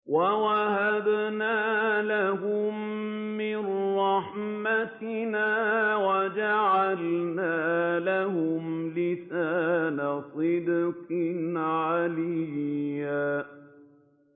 وَوَهَبْنَا لَهُم مِّن رَّحْمَتِنَا وَجَعَلْنَا لَهُمْ لِسَانَ صِدْقٍ عَلِيًّا